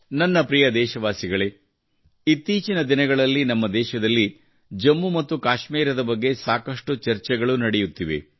ನನ್ನ ಪ್ರಿಯ ದೇಶವಾಸಿಗಳೇ ಇತ್ತೀಚಿನ ದಿನಗಳಲ್ಲಿ ನಮ್ಮ ದೇಶದಲ್ಲಿ ಜಮ್ಮು ಮತ್ತು ಕಾಶ್ಮೀರದ ಬಗ್ಗೆ ಸಾಕಷ್ಟು ಚರ್ಚೆಗಳು ನಡೆಯುತ್ತಿವೆ